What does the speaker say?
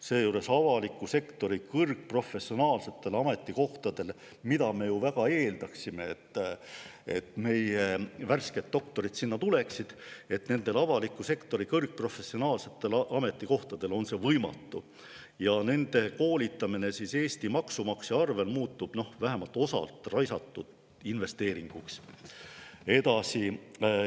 Seejuures avaliku sektori kõrgetele professionaalsetele ametikohtadele – me ju väga eeldame, et meie värsked doktorid sinna tulevad – on neil võimatu ja seega muutub nende koolitamine Eesti maksumaksja arvel vähemalt osalt raisatud investeeringuks.